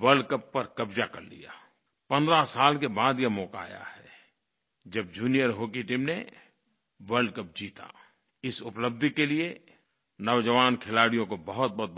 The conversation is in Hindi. वर्ल्ड कप पर कब्ज़ा कर लियाआई पंद्रह साल के बाद ये मौका आया है जब जूनियर हॉकी टीम ने वर्ल्ड कप जीताआई इस उपलब्धि के लिये नौजवान खिलाड़ियों को बहुतबहुत बधाई